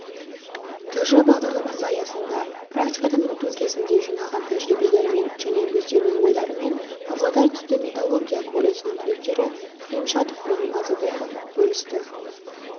тж бағдарламасы аясында практикадан өту кезінде жинаған тәжірибелерімен және өздерінің ойларымен павлодар түсті металлургия колледжінің түлектері күлемшатов пен маговьянов бөлісті